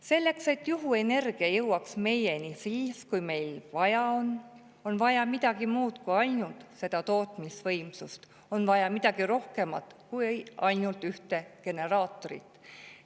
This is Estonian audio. Selleks et juhuenergia jõuaks meieni siis, kui meil vaja on, on tarvis midagi muud kui ainult neid tootmisvõimsusi, on tarvis midagi rohkemat kui ainult ühte generaatorit.